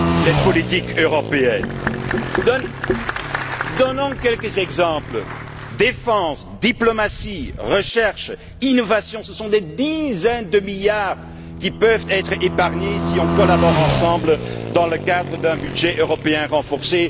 les politiques européennes? Donnons quelques exemples défense, diplomatie, recherche, innovation, ce sont des dizaines de milliards qui peuvent être épargnés si nous collaborons ensemble, dans le cadre d'un budget européen renforcé.